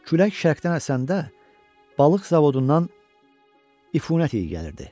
Külək şərqdən əsəndə balıq zavodundan ifunət iyi gəlirdi.